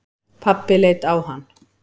Pabbi leit á hann.